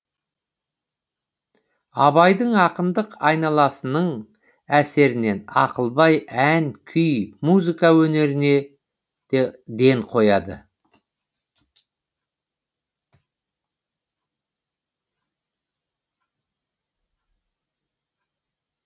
абайдың ақындық айналасының әсерінен ақылбай ән күй музыка өнеріне ден қояды